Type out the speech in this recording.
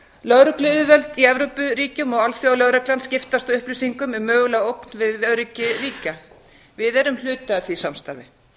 lögregluyfirvöld í evrópuríkjum og alþjóðalögreglan skiptast á upplýsingum um mögulega ógn við öryggi ríkja við erum hluti af því samstarfi